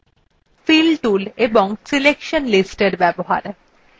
fill tools এবং selection listsএর ব্যবহার